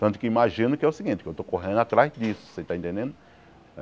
Tanto que imagino que é o seguinte, que eu estou correndo atrás disso, você está entendendo?